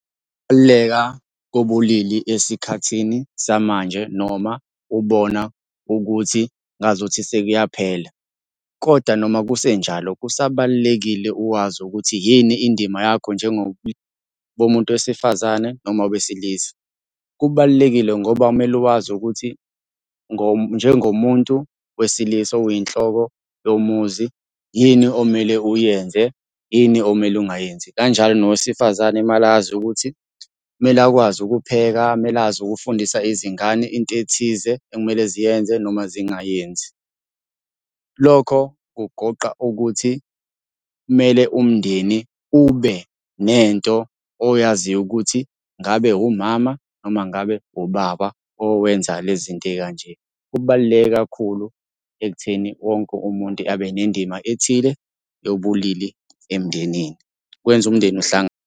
Ukubaluleka kobulili esikhathini samanje noma ubona ukuthi ngazuthi sekuyaphela, koda noma kusenjalo kusabalulekile uwazi ukuthi yini indima yakho bomuntu wesifazane noma wesilisa. Kubalulekile ngoba kumele wazi ukuthi njengomuntu wesilisa oyinhloko yomuzi, yini omele uyenze, yini omele ungayenzi. Kanjalo nowesifazane mele azi ukuthi kumele akwazi ukupheka, kumele azi ukufundisa izingane into ethize ekumele ziyenze noma zingayenzi. Lokho kugoqa ukuthi kumele umndeni ube nento oyaziyo ukuthi ngabe umama noma ngabe ubaba owenza le zinto ey'kanje. Kubaluleke kakhulu ekutheni wonke umuntu abe nendima ethile yobulili emndenini, kwenza umndeni uhlangane.